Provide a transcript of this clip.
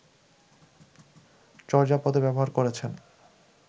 চর্যাপদে ব্যবহার করেছেন